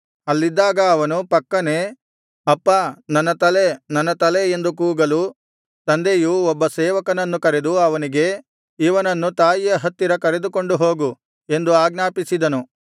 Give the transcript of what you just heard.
ಅಲ್ಲಿದ್ದಾಗ ಅವನು ಪಕ್ಕನೆ ಅಪ್ಪಾ ನನ್ನ ತಲೆ ನನ್ನ ತಲೆ ಎಂದು ಕೂಗಲು ತಂದೆಯು ಒಬ್ಬ ಸೇವಕನನ್ನು ಕರೆದು ಅವನಿಗೆ ಇವನನ್ನು ತಾಯಿಯ ಹತ್ತಿರ ಕರೆದುಕೊಂಡು ಹೋಗು ಎಂದು ಆಜ್ಞಾಪಿಸಿದನು